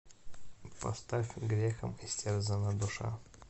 поставь грехом истерзана душа